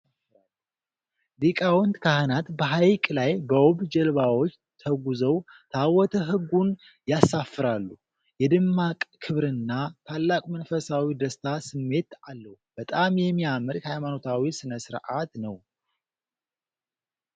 ሊቃውንት ካህናት በሐይቅ ላይ በውብ ጀልባዎች ተጉዘው ታቦተ ሕጉን ያሳፍራሉ። የደማቅ ክብርና ታላቅ መንፈሳዊ ደስታ ስሜት አለው። በጣም የሚያምር የሃይማኖታዊ ሥነ-ሥርዓትነው።